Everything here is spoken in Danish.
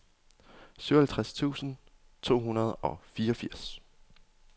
syvoghalvtreds tusind to hundrede og fireogfirs